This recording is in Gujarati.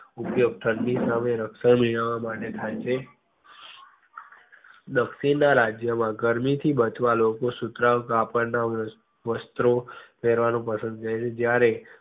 ઉપયોગ ઠંડી સામે રક્ષણ મેળવવા માટે થાય છે દક્ષિણ ના રાજ્ય માં ગરમી થી બચવા લોકો સુતરાઉ કાપડ ના વાસ~વસ્ત્રો પેરવાનું પસંદ કરે છે. જયારે